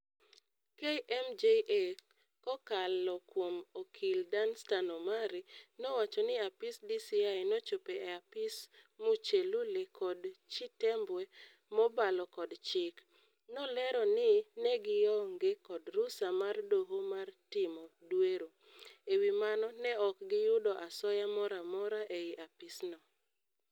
KMJA, kokalo kuom okil Danstan Omari nowacho ni apis DCI nochopo e apis Muchelule kod Chitembwe mobalo kod chik. Nolero ni negionge kod rusa mar doho mar timo dwero. Ewi mano ne ok giyudo asoya moramora ei apis no.